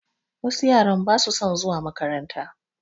Wasu yaran basu son zuwa makaranta